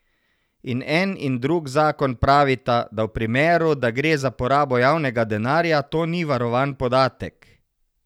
In en in drug zakon pravita, da v primeru, da gre za porabo javnega denarja, to ni varovan podatek.